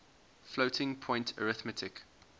floating point arithmetic